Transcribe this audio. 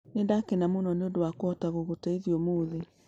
Nĩ ndakena mũno nĩ ũndũ wa kũhota gũgũteithia ũmũthĩ,